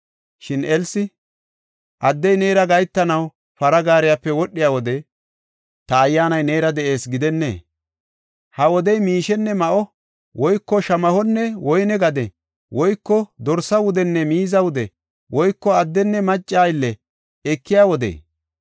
Shin Elsi, “Addey neera gahetanaw para gaariyape wodhiya wode, ta ayyaanay neera de7ees gidennee? Ha wodey, miishenne ma7o, woyko shamahonne woyne gade, woyko dorsa wudenne miiza wude, woyko addenne macca aylle ekiya wodee?